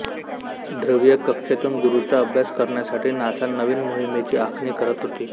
ध्रुवीय कक्षेतून गुरूचा अभ्यास करण्यासाठी नासा नवीन मोहिमेची आखणी करत होती